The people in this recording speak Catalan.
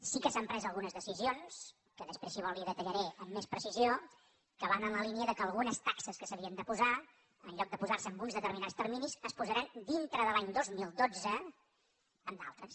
sí que s’han pres algunes decisions que després si vol li detallaré amb més precisió que van en la línia que algunes taxes que s’havien de posar en lloc de posar se amb uns determinats terminis es posaran dintre de l’any dos mil dotze amb d’altres